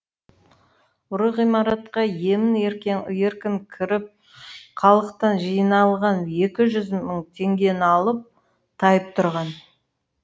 ұры ғимаратқа емін еркін кіріп халықтан жиналған екі жүз мың теңгені алып тайып тұрған